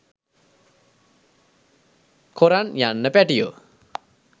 කොරන් යන්න පෑටියෝ